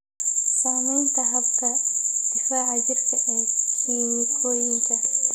Saamaynta habka difaaca jirka ee kiimikooyinka.